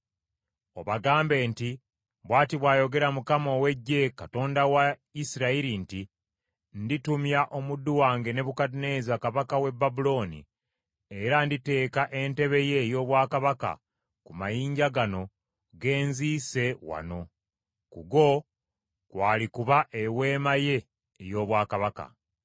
Obagambe nti, ‘Bw’ati bw’ayogera Mukama ow’Eggye, Katonda wa Isirayiri nti, Nditumya omuddu wange Nebukadduneeza kabaka w’e Babulooni, era nditeeka entebe ye ey’obwakabaka ku mayinja gano ge nziise wano. Ku go kwalikuba eweema ye ey’obwakabaka.